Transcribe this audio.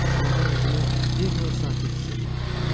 Amma mən özümü bir növ sakit hiss eləyirdim.